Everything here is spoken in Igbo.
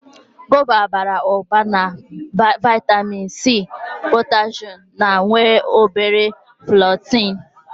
Gova bara ụba na vaịtamịn C, potashum ma nwee o bere fọleetị.